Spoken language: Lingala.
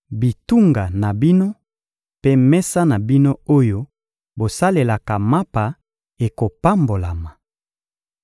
Bitunga na bino mpe mesa na bino oyo bosalelaka mapa ekopambolama.